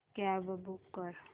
cab book कर